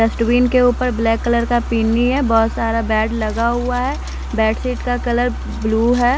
Dust bin के ऊपर black colour का पीनी है बहुत सारा बेड लगा हुआ है बेडशीट का कलर ब्लू है।